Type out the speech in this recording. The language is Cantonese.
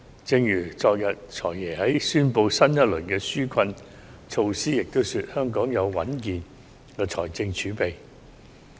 正如昨天"財爺"在宣布新一輪紓困措施時也表示，香港有穩健的財政儲備。